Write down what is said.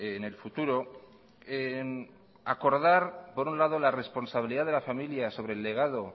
en el futuro acordar por un lado la responsabilidad de la familia sobre el legado